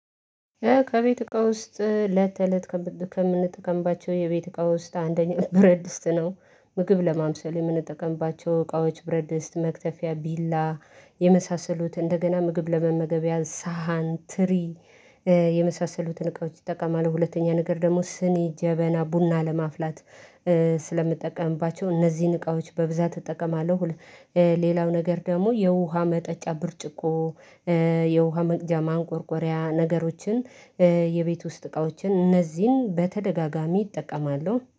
ከቤት እቃ ውስጥ እለት ተእለት ከምንጠቀምባቸው የቤት እቃ ውስጥ አንደኛ ብረት ድስት ነው ምግብ ለማብሰል የምንጠቀምባቸው እቃዎች ብረት ድስት መክተፊያ ቢላ የመሳሰሉት እንደገና ምግብ ለመመገቢያ ሰሃን ትሪ የመሳሰሉትን እቃዎች እጠቃማለሁ ሁለተኛ ነገር ደግሞ ስኒ ጀበና ቡና ለማፍላት ስለምጠቀምባቸው እነዚህን እቃዎች በብዛት እጠቀማለሁ። ሌላው ነገር ደግሞ የውሃ መጠጫ ብርጭቆ የውሃ መቅጃ ማንቆርቆሪያ ነገሮችን የቤት ውስጥ እቃዎችን እነዚህን በተደጋጋሚ እጠቀማለሁ